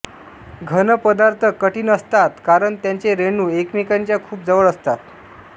घन पदार्थ कठीण असतात कारण त्यांचे रेणू एकमेकांच्या खूप जवळ असतात